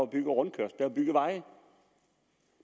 bygget rundkørsler bygget veje